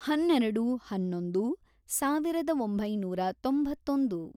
ಹನ್ನೆರೆೆಡು, ಹನ್ನೊಂದು, ಸಾವಿರದ ಒಂಬೈನೂರ ತೊಂಬತ್ತೊಂದು